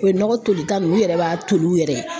U ye nɔgɔ tolita minnu u yɛrɛ b'a toli u yɛrɛ ye